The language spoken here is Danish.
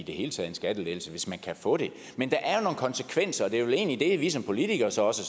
en skattelettelse hvis man kan få det men der er jo nogle konsekvenser og det er vel egentlig det vi som politikere så også